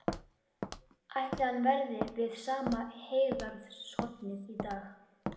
Ætli hann verði við sama heygarðshornið í dag?